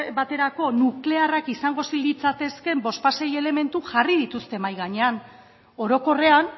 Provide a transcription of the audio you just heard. baterako nuklearrak izango litzatekeen bost sei elementu jarri dituzte mahai gainean orokorrean